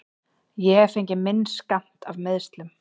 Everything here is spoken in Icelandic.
Ég hef fengið minn skammt af meiðslum.